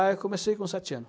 Ah, eu comecei com sete anos.